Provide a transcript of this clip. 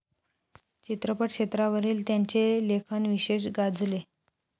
चित्रपट क्षेत्रावरील त्यांचे लेखन विशेष गाजले.